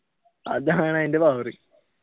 അതാണ് അതിന്റെ power